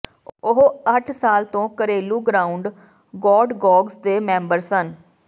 ਉਹ ਅੱਠ ਸਾਲ ਤੋਂ ਘਰੇਲੂ ਗ੍ਰਾਂਉਡ ਗੌਡਗੋਗਜ਼ ਦੇ ਮੈਂਬਰ ਸਨ